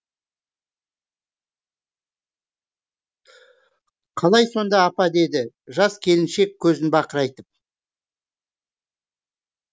қалай сонда апа деді жас келіншек көзін бақырайтып